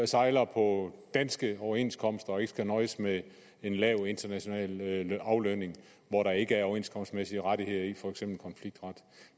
sejler på danske overenskomster så de ikke skal nøjes med en lav international aflønning hvor der ikke er overenskomstmæssige rettigheder i for eksempel konfliktret